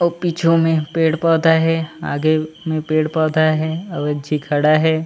अऊ पीछू में पेड़-पौधा हे आगे में पेड़-पौधा हे अऊ झी खड़ा हे।